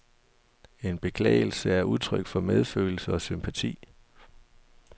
En beklagelse er udtryk for medfølelse og sympati.